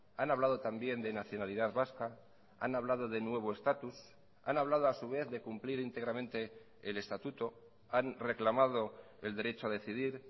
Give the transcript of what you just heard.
han hablado también de nacionalidad vasca han hablado de nuevo estatus han hablado a su vez de cumplir íntegramente el estatuto han reclamado el derecho a decidir